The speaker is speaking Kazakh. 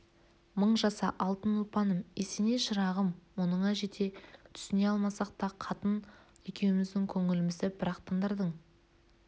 мың жаса алтын ұлпаным есеней шырағым мұныңа жете түсіне алмасақ та қатын екеуміздің көңілімізді бір-ақ тындырдың